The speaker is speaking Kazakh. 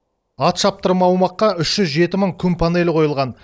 ат шаптырым аумаққа үш жүз жеті мың күн панелі қойылған